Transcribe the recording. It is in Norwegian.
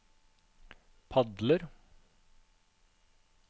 padler